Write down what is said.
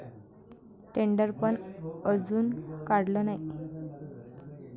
टेंडरपण अजून काढलं नाही.